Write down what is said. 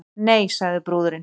Nei, sagði brúðurin.